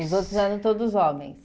Os outros eram todos homens.